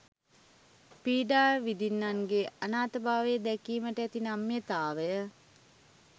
පීඩා විඳින්නන්ගේ අනාථභාවය දැකීමට ඇති නම්‍යතාව